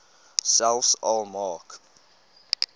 selfs al maak